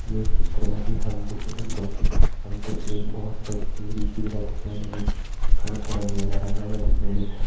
ये चित्र मा जी हम देख ही सक्दों कि हम ते एक बहोत बड़ी टिहरी झीला दिखेण लगीं यु थोड़ा थोड़ा नीला रंग मा दिखेणी।